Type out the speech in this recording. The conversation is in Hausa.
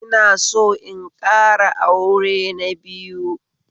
Ina son in ƙara aure na biyu